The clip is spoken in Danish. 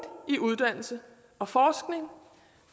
i uddannelse og forskning